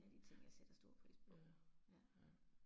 Ja, ja, ja